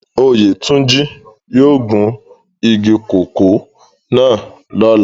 Oyetunji yóò gun igi koko náa lọla.